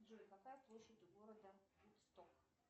джой какая площадь у города вудсток